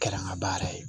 Kɛra n ka baara yɛrɛ ye